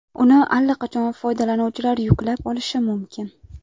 Uni allaqachon foydalanuvchilar yuklab olishi mumkin.